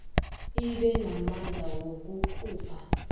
ibe namandla wokukhupha